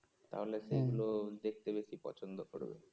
তাহলে সেগুলো দেখতে বেশি পছন্দ করবে